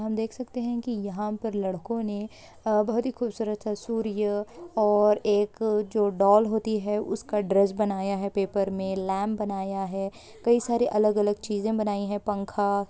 हम देख सकते हैं कि यहां पर लड़कों ने आ बहुत ही खूबसूरत सा सूर्य और एक आ जो डॉल होती है उसका ड्रेस बनाया है पेपर में लैंप बनाया है कई सारे अलग-अलग चीज़ें बनाई हैं पंखा--